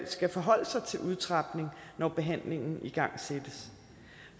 skal forholde sig til udtrapning når behandlingen igangsættes